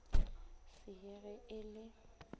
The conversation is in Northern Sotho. se ye ge e le